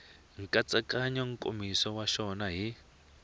nkatsakanyo nkomiso wa xona hi